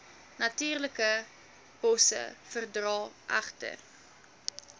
natuurlikebosse verdra egter